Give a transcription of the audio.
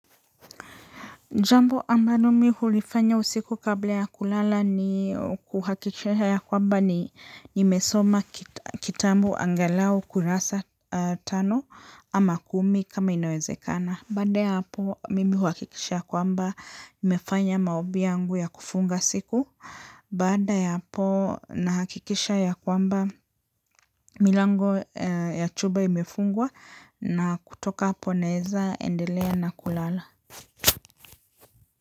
Jambo ambalo mimi hulifanya usiku kabla ya kulala ni kuhakikisha ya kwamba nimesoma kitabu angalau kurasa tano ama kumi kama inawezekana. Baada ya hapo mimi huhakikisha kwamba nimefanya maombi yangu ya kufunga siku baada ya hapo nahakikisha ya kwamba milango ya chumba imefungwa na kutoka hapo naweza endelea na kulala.